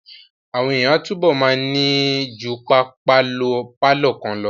Àwọn èèyàn máa túbọ̀ ma ní ju pálọ̀ kan lọ